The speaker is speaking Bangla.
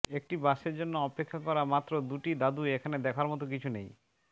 একটি বাসের জন্য অপেক্ষা করা মাত্র দুটি দাদু এখানে দেখার মতো কিছু নেই